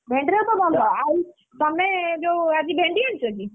ଭେଣ୍ଡିଟା ତ ବନ୍ଧା ତମେ ଯୋଉ ଆଜି ଭେଣ୍ଡି ଆଣିଛ କି?